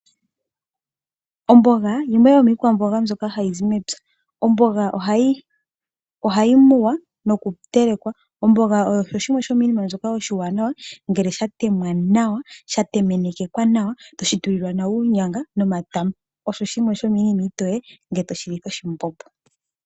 Omboga yimwe yomiikwamboga mbyoka hai zi mepya. Omboga ohayi muwa noku telekwa. Omboga oyo yimwe yomiinima iiwanawa, ngele ya temwa nawa ya temenekeka nawa, tayi tulwa uunyanga nomatama. Oyo yimwe yomiinima iitoye ngele toyi litha oshimbombo.